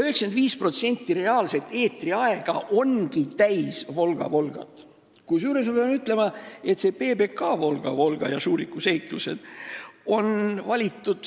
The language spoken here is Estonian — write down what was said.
95% reaalsest eetriajast ongi täis "Volga-Volgat", kusjuures ma pean ütlema, et PBK-sse on "Volga-Volga" ja "Šuriku seiklused"